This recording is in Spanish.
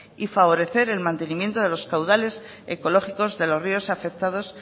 y favorecer el mantenimiento de los caudales ecológicos de los ríos afectados